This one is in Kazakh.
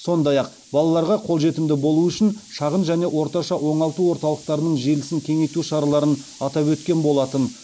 сондай ақ балаларға қолжетімді болуы үшін шағын және орташа оңалту орталықтарының желісін кеңейту шараларын атап өткен болатын